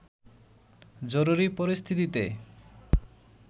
জরুরি পরিস্থিতিতে